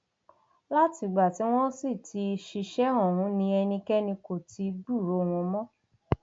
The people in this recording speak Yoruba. látìgbà tí wọn sì ti ṣiṣẹ ọhún ni ẹnikẹni kò ti gbúròó wọn mọ